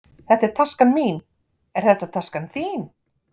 Þetta er taskan mín. Er þetta taskan þín?